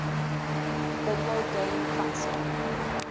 video game console